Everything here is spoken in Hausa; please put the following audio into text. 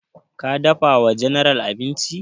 Ka dafa wa general abinci?